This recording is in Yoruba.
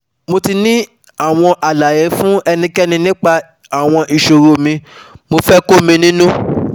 Mo ti ní àwọn àlàyé fún ẹnikẹ́ni nípa àwọn ìṣòro mi, mo fẹ́ kó mi nínú